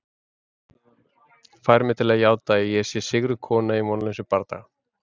Fær mig til að játa að ég sé sigruð kona í vonlausum bardaga.